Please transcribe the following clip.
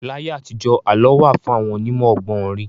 Láyé àtijọ́, àlọ́ wà fún àwọn onímọ̀ ọgbọ́n orí.